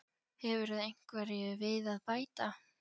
Hefurðu einhverju við að bæta?